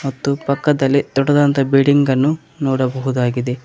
ಮತ್ತು ಪಕ್ಕದಲ್ಲಿ ದೊಡ್ಡದಾದಂತಹ ಬಿಲ್ಡಿಂಗ್ ಅನ್ನು ನೋಡಬಹುದಾಗಿದೆ.